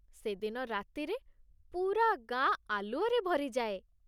ସେଦିନ ରାତିରେ ପୂରା ଗାଁ ଆଲୁଅରେ ଭରି ଯାଏ ।